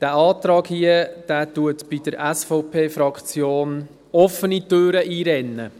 Dieser Antrag rennt bei der SVP-Fraktion offene Türen ein.